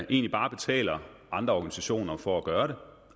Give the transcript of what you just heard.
egentlig bare betaler andre organisationer for at gøre